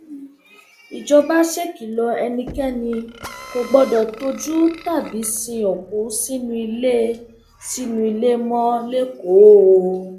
ìjọba ṣèkìlọ ẹnikẹni kò gbọdọ tọjú tàbí sin òkú sínú ilé sínú ilé mọ lẹkọọ o